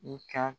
I ka